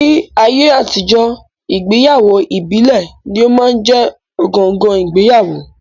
Ní ayé àtijọ́, ìgbéyàwó ìbílẹ̀ ní ó máa ń jẹ́ ọ̀gangan ìgbéyàwó